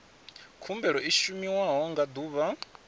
khumbelo i shumiwa nga ḓuvha